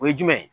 O ye jumɛn ye